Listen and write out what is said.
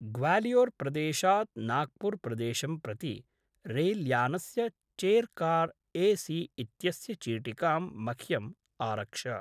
ग्वालियोर्प्रदेशात् नाग्पूर्प्रदेशं प्रति रेल्यानस्य चेर्कार्‌ ए सि इत्यस्य चीटिकाम् मह्यम् आरक्ष।